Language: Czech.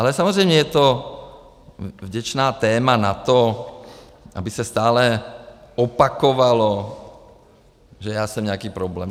Ale samozřejmě je to vděčné téma na to, aby se stále opakovalo, že já jsem nějaký problém.